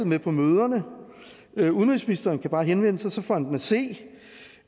med på møderne udenrigsministeren kan bare henvende sig og så får han den at se